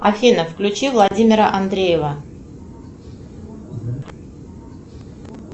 афина включи владимира андреева